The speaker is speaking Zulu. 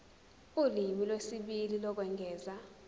ulimi lwesibili lokwengeza